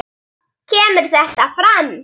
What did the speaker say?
kemur þetta fram